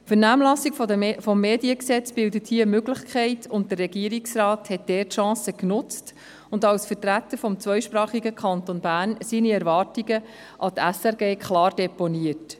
Die Vernehmlassung des Mediengesetzes bildet hier eine Möglichkeit, und der Regierungsrat hat die Chance genutzt und als Vertreter des zweisprachigen Kantons Bern seine Erwartungen an die SRG klar deponiert.